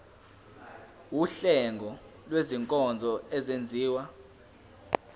wuhlengo lwezinkonzo ezenziwa